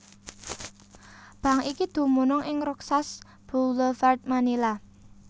Bank iki dumunung ing Roxas Boulevard Manila